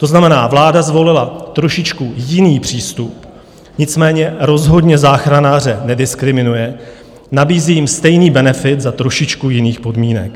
To znamená, vláda zvolila trošičku jiný přístup, nicméně rozhodně záchranáře nediskriminuje, nabízí jim stejný benefit za trošičku jiných podmínek.